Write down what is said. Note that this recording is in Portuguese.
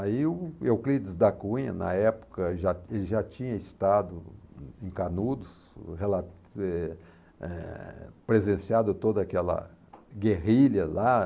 Aí o Euclides da Cunha, na época, já já tinha estado em Canudos, rela, eh, eh, presenciado toda aquela guerrilha lá.